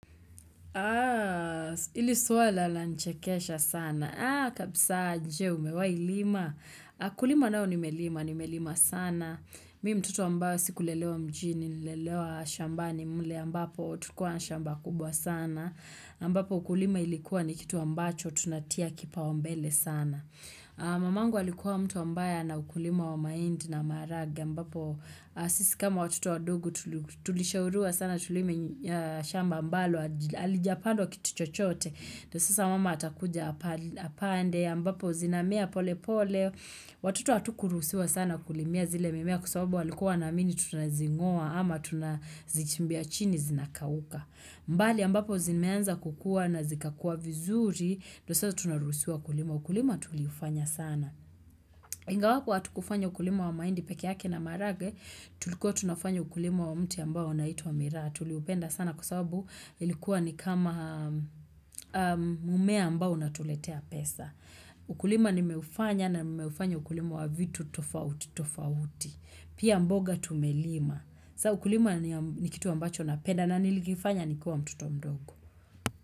Haa, ili swala la nichekesha sana. Haa, kabisa je, umewai lima?. Kulima nao nimelima, nimelima sana. Mimi mtoto ambayo sikulelewa mjini, nililelewa shambani mle ambapo tukua nshamba kubwa sana. Ambapo ukulima ilikuwa ni kitu ambacho tunatia kipao mbele sana. Mamangu alikuwa mtu ambaye ana ukulima wa mahindi na maharage ambapo sisi kama watuto wandogo tulishauriwa sana tulime shamba ambalo halijapandwa kitu chochote ndio sasa mama atakuja apande ambapo zinamea pole pole Watoto hatukuruhusiwa sana kulimia zile mimea kusawabu walikuwa na mini tunazingoa ama tunazichimbia chini zinakawuka mbali mbapo zinimeanza kukua na zikakua vizuri ndio sasa tunaruhusiwa ukulima. Ukulima tuliufanya sana. Ingawa hutu kufanya ukulima wa mahindi peke yake na maharagwe tulikuwa tunafanya ukulima wa mti ambao unitwa wa mira. Tuliupenda sana kusabu ilikuwa ni kama mumea ambao na tuletea pesa. Ukulima nimeufanya na nimeufanya ukulima wa vitu tofauti tofauti. Pia mboga tumelima. Sa ukulima ni kitu ambacho napenda na nilikifanya nikua mtoto mdogo.